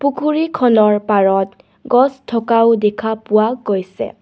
পুখুৰী খনৰ পাৰত গছ থকাও দেখা পোৱা গৈছে.